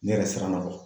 Ne yɛrɛ siranna kɔ